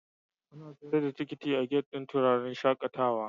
Ana sayar da tikiti a gati'n wuraren shakatawa.